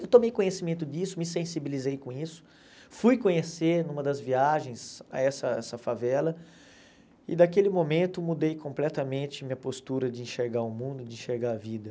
Eu tomei conhecimento disso, me sensibilizei com isso, fui conhecer numa das viagens a essa essa favela e daquele momento mudei completamente minha postura de enxergar o mundo, de enxergar a vida.